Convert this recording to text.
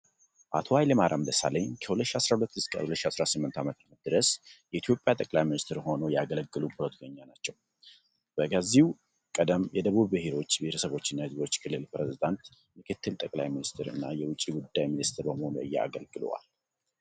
አቶ ኃይለማርያም ደሳለኝ ከ2012 እስከ 2018 ዓ.ም ድረስ የኢትዮጵያ ጠቅላይ ሚኒስትር ሆነው ያገለገሉ ፖለቲከኛ ናቸው። በከዚህ ቀደም የደቡብ ብሔሮች፣ ብሔረሰቦችና ሕዝቦች ክልል ፕሬዝዳንት፣ ምክትል ጠቅላይ ሚኒስትር እና የውጭ ጉዳይ ሚኒስትር በመሆን አገልግለዋል።